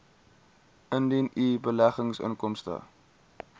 indien u beleggingsinkomste